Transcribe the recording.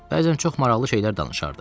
Bəzən çox maraqlı şeylər danışardı.